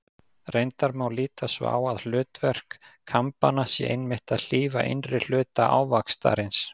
Reyndar má líta svo á að hlutverk kambanna sé einmitt að hlífa innri hluta ávaxtarins.